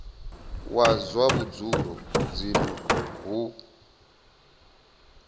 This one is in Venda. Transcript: wa zwa vhudzulo dzinnu hu